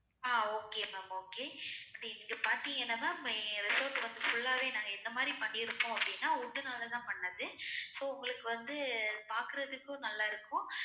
ah okay ma'am okay but நீங்க பாத்திங்கன்னா ma'am எங்க resort வந்து full ஆவே நாங்க எந்த மாறி பண்ணி இருக்கோம் அப்டின்னா wood னாலதா பண்ணது so உங்களுக்கு வந்து பாக்குறதுக்கும் நல்லா இருக்கும்